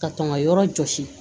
Ka tɔn ka yɔrɔ jɔsi